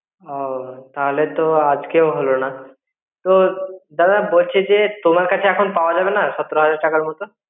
ও তাহলে তো আজকেও হলনা. তো দাদা বলছি যে তোমার কাচে এখন পাওয়া যাবে না সতেরো হাজার টাকার মতো.